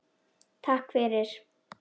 Takk fyrir